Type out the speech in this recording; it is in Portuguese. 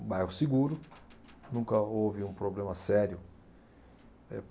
Um bairro seguro, nunca houve um problema sério eh.